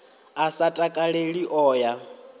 a sa takaleli o ya